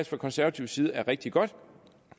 fra konservativ side er rigtig godt